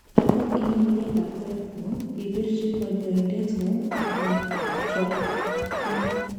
angot iimengei lakwetngung, ibirchi kanyoindetngung end chokyinet